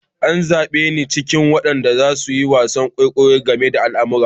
An zabe ni cikin waɗanda za su yi wasan kwaikwayo game da almara.